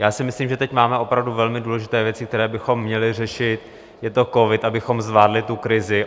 Já si myslím, že teď máme opravdu velmi důležité věci, které bychom měli řešit - je to covid, abychom zvládli tu krizi.